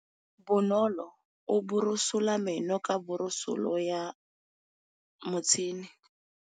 Bonolô o borosola meno ka borosolo ya motšhine.